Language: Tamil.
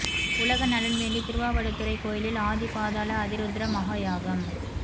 உலக நலன் வேண்டி திருவாவடுதுறை கோயிலில் ஆதி பாதாள அதிருத்ர மகா யாகம்